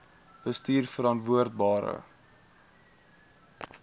bestuurverantwoordbare